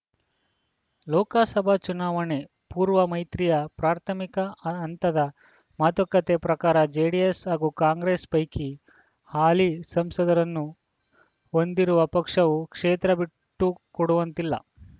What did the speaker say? ಲೋಕಸಭಾ ಚುನಾವಣೆ ಪೂರ್ವ ಮೈತ್ರಿಯ ಪ್ರಾಥಮಿಕ ಹ ಹಂತದ ಮಾತುಕತೆ ಪ್ರಕಾರ ಜೆಡಿಎಸ್‌ ಹಾಗೂ ಕಾಂಗ್ರೆಸ್‌ ಪೈಕಿ ಹಾಲಿ ಸಂಸದರನ್ನು ಹೊಂದಿರುವ ಪಕ್ಷವು ಕ್ಷೇತ್ರ ಬಿಟ್ಟು ಕೊಡುವಂತಿಲ್ಲ